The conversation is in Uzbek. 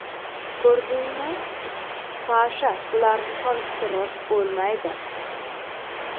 Ko‘rdingmi, Sasha bularni solishtirib bo‘lmaydi.